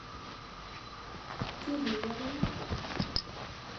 кирилловым